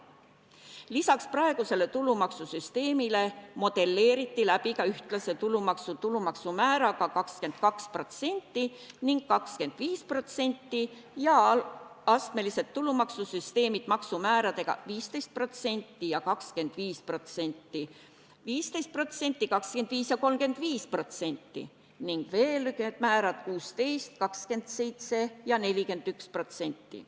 Lisaks praegusele tulumaksusüsteemile modelleeriti läbi ka ühtlane tulumaks määraga 22% ja 25% ning astmelised tulumaksusüsteemid maksumääradega 15% ja 25%; 15%, 25% ja 35% ning 16%, 27% ja 41%.